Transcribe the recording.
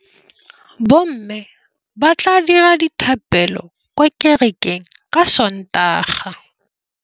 Bommê ba tla dira dithapêlô kwa kerekeng ka Sontaga.